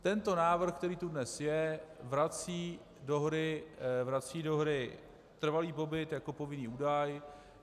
Tento návrh, který tu dnes je, vrací do hry trvalý pobyt jako povinný údaj.